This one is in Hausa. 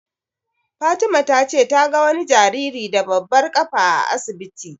Fatima ta ce ta ga wani jariri da babbar ƙafa a asibiti.